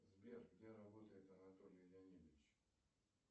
сбер где работает анатолий леонидович